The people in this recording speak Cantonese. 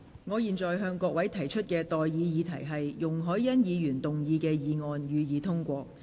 我現在向各位提出的待議議題是：容海恩議員動議的議案，予以通過。